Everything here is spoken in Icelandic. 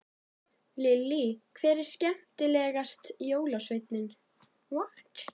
Lillý: Hver er skemmtilegast jólasveinninn?